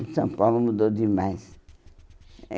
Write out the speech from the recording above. O São Paulo mudou demais. Eh